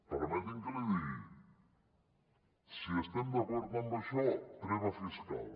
permeti’m que li digui si estem d’acord en això treva fiscal